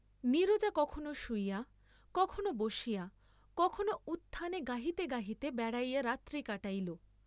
নীরজা কখনও শুইয়া, কখনও বসিয়া, কখনও উত্থানে গাহিতে গাহিতে বেড়াইয়া রাত্রি কাটাইল।